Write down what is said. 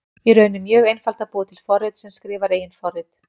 Í raun er mjög einfalt að búa til forrit sem skrifar eigin forrit.